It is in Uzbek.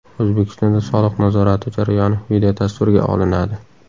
O‘zbekistonda soliq nazorati jarayoni videotasvirga olinadi.